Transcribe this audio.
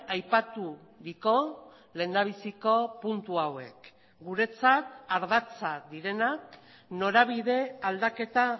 aipaturiko lehendabiziko puntu hauek guretzat ardatza direnak norabide aldaketa